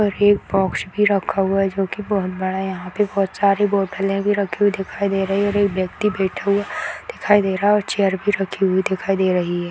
और एक बॉक्स भी रखा हुआ है जो कि बहुत बड़ा है यहाँ पे बहुत सारी बोटले भी रखी हुई दिखाई दे रही है और एक व्यक्ति बैठा हुआ दिखाई दे रहा है और चेयर भी रखी हुई दिखाई दे रही है।